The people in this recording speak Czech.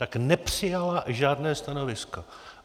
Tak nepřijala žádné stanovisko.